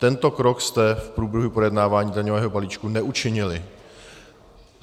Tento krok jste v průběhu projednávání daňového balíčku neučinili.